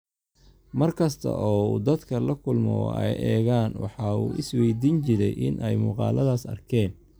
mar kasta oo uu dadka la kulmo oo ay eegaan, waxa uu is waydiin jiray in ay muuqaalladaas arkeen.